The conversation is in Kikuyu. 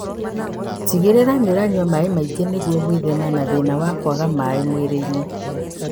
Tigĩrĩra nĩũranyua maĩ maingĩ nĩguo gwĩthema na thĩna wa kwaga maĩ mwĩrĩ-inĩ